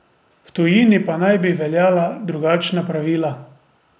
V tujini pa naj bi veljala drugačna pravila.